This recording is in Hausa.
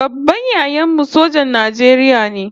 Babban yayan mu sojan Najeriya ne